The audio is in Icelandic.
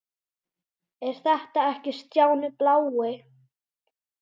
Er þetta ekki Stjáni blái?!